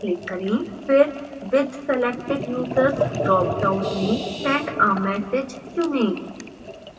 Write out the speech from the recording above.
फिर with selected users drop down में send a message चुनें